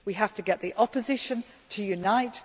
we have to get the Opposition to unite